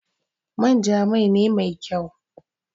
manja Mai ne Mai kyau.